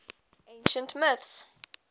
ancient mints